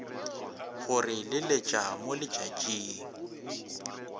go re leletša mo letšatšing